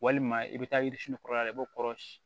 Walima i bɛ taa yiririsini kɔrɔ la i b'o kɔrɔsi